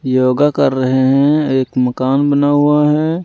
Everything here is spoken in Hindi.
योगा कर रहे हैं एक मकान बना हुआ है।